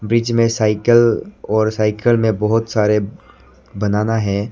बीच में साइकल और साइकल में बहोत सारे बनाना हैं।